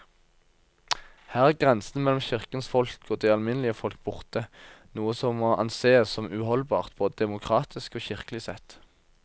Her er grensen mellom kirkens folk og det alminnelige folk borte, noe som må ansees som uholdbart både demokratisk og kirkelig sett.